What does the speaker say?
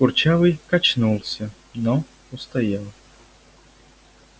курчавый качнулся но устоял